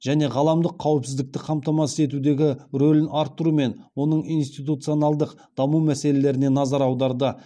және ғаламдық қауіпсіздікті қамтамасыз етудегі рөлін арттыру мен оның институционалдық даму мәселелеріне назар аударды